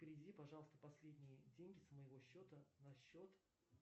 переведи пожалуйста последние деньги с моего счета на счет